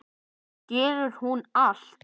Skilur hún allt?